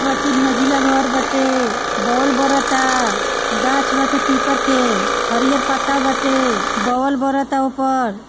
उमे तीन मंजिला घर बाटे बोल बड़ाता गाछ बाटे पीपल के हरिहर पत्ता बाटे बोल बड़ाता ओय पर।